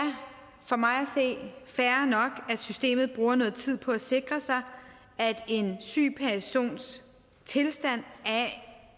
for mig at systemet bruger noget tid på at sikre sig at en syg persons tilstand